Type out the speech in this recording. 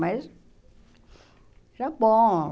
Mas... Já bom.